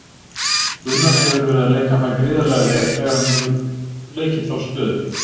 Gunnar hefur verið að leika það gríðarlega vel þegar hann hefur leikið þá stöðu.